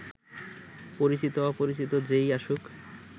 পরিচিত-অপরিচিত যে-ই আসুক